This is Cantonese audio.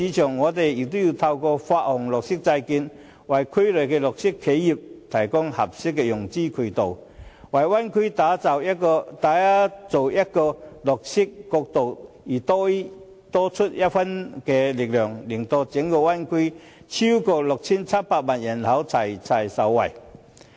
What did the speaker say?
政府也可以透過發行綠色債券，為區內的綠色企業提供合適的融資渠道，為灣區打造綠色國度而多出一分力，令整灣區內超過 6,700 萬人口一同受惠。